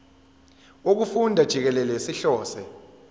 wokufunda jikelele sihlose